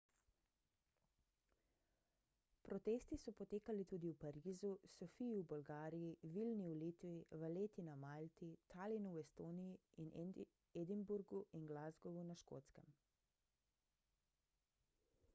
protesti so potekali tudi v parizu sofiji v bolgariji vilni v litvi valletti na malti talinu v estoniji in edinburgu in glasgowu na škotskem